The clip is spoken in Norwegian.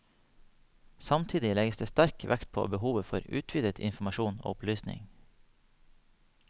Samtidig legges det sterk vekt på behovet for utvidet informasjon og opplysning.